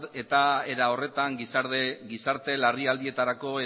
eta era horretan gizarte larrialdietarako